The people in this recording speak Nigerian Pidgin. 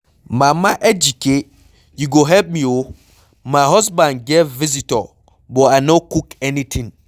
Mama Ejike you go help me oo, my husband get visitor but I no cook anything.